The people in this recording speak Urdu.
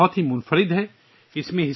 یہ کتاب بہت منفرد ہے